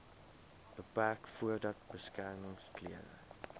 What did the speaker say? beperk voordat beskermingsklere